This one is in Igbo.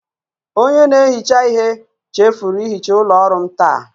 Onye na-ehicha ihe chefuru ihicha ụlọ ọrụ m taa.